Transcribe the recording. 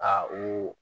Aa u